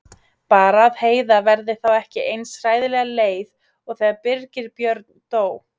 Bara að Heiða verði þá ekki eins hræðilega leið og þegar Birgir Björn dó.